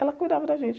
Ela cuidava da gente.